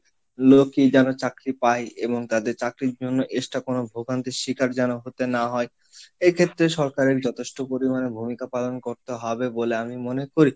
লোকই যেন চাকরি পায় এবং তাদের চাকরির জন্য extra কোনো ভোগান্তির শিকার যেন হতে না হয়, এক্ষেত্রে সরকারের যথেষ্ট পরিমাণে ভূমিকা পালন করতে হবে বলে আমি মনে করি।